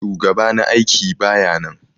Shugaɓa na aiƙi baƴa nan.